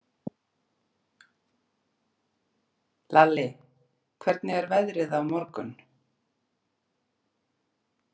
Lalli, hvernig er veðrið á morgun?